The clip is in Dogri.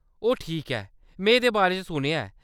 ओह ठीक ऐ, में एह्‌‌‌दे बारे च सुनेआ ऐ।